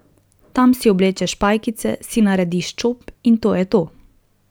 Tam si oblečeš pajkice, si narediš čop in to je to.